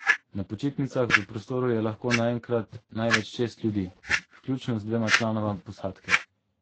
Na počitnicah v prostoru je lahko naenkrat največ šest ljudi, vključno z dvema članoma posadke.